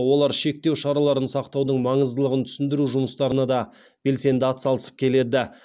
олар шектеу шараларын сақтаудың маңыздылығын түсіндіру жұмыстарына да белсенді атсалысып келеді